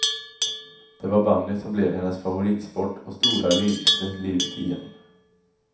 Det var bandyn som blev hennes favoritsport och stora lidelse livet igenom.